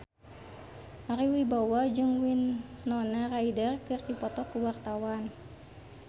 Ari Wibowo jeung Winona Ryder keur dipoto ku wartawan